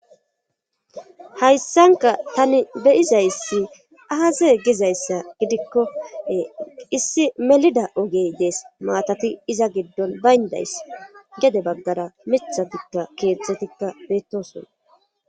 Hayssanka tani beyizayssi aase gizayssa gidikkoe issi melida ogey dees maatati iza giddon bayndays gede baggara mithatikka keetztzetikka beettoson